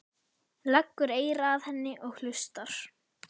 Leggur eyra að henni og hlustar.